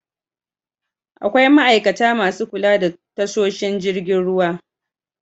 Akwai ma'aikata masu kula da tasoshin jirgin ruwa.